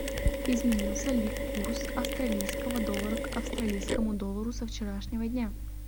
изменился ли курс австралийского доллара к австралийскому доллару со вчерашнего дня